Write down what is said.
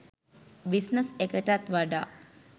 business එකටත් වඩා